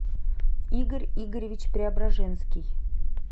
игорь игоревич преображенский